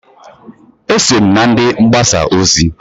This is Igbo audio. Eso m na ndị mgbasa ozi.